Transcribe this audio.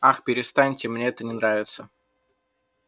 ах перестаньте мне это не нравится